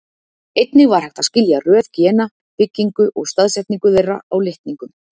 Einnig var hægt að skilja röð gena, byggingu og staðsetningu þeirra á litningum.